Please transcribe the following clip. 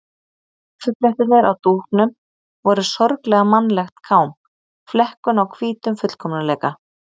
Kaffiblettirnir á dúknum voru sorglega mannlegt kám, flekkun á hvítum fullkomleika.